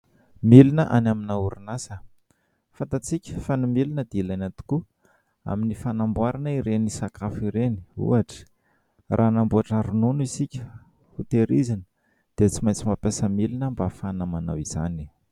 Milina any amina orinasa. Fantantsika fa ny milina dia ilaina tokoa amin'ny fanamboarana ireny sakafo ireny ohatra raha hanamboatra ronono isika ho tehirizina dia tsy maintsy mampiasa milina mba hahafana manao izany.